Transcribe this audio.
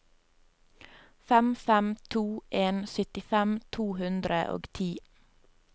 fem fem to en syttifem to hundre og ti